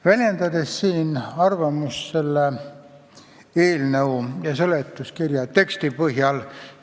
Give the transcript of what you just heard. Väljendan siin arvamust selle eelnõu ja seletuskirja teksti põhjal.